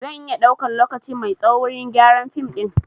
Zan iya ɗaukan lokaci mai tsaho wurin gyaran fim ɗin